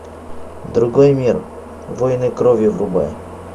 другой мир воины крови врубай